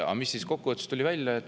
Aga mis kokkuvõttes välja tuli?